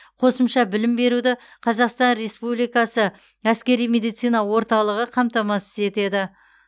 қосымша білім беруді қазақстан республикасы әскери медицина орталығы қамтамасыз етеді